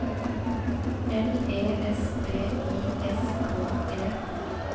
L E S B I S K E